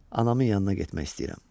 Anamın yanına getmək istəyirəm.